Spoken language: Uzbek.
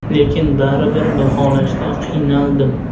Lekin baribir baholashda qiynaldim.